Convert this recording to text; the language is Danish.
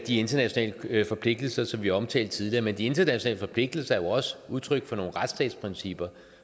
internationale forpligtelser som vi omtalte tidligere men de internationale forpligtelser er jo også udtryk for nogle retsstatsprincipper